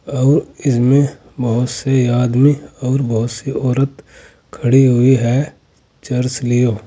और इसमें बहुत से आदमी और बहुत सी औरत खड़ी हुई है चर्च लिए--